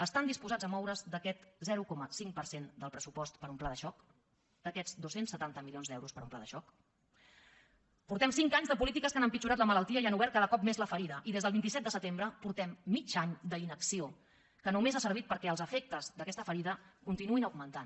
estan disposats a moure’s d’aquest zero coma cinc per cent del pressupost per a un pla de xoc d’aquests dos cents i setanta milions d’euros per a un pla de xoc portem cinc anys de polítiques que han empitjorat la malaltia i han obert cada cop més la ferida i des del vint set de setembre portem mig any d’inacció que només ha servit perquè els efectes d’aquesta ferida continuïn augmentant